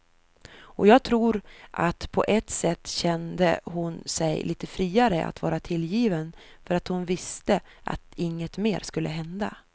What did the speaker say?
Och jag tror att på ett sätt kände hon sig lite friare att vara tillgiven för att hon visste att inget mer skulle hända.